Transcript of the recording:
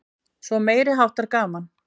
Svo meiriháttar gaman!